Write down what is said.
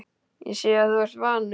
Ég sé að þú ert vanur.